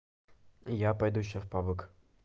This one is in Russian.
я пойду сейчас в пабг